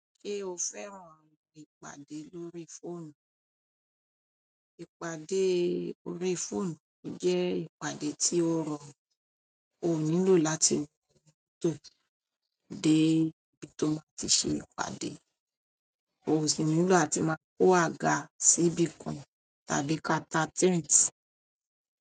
Ṣé o fẹ́ràn ìpàdé lórí fóònù? Ìpàdé órí fóònù jẹ́ ìpàdé tí ó rọrùn, o nílò láti wọ mọ́tò dé ibi tó máa ti ṣe ìpàdé, o sì nílò áti máa kó agá síbì kan tàbí kaa ta tenti.